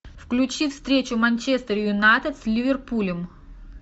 включи встречу манчестер юнайтед с ливерпулем